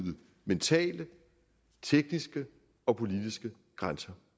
mentale tekniske og politiske grænser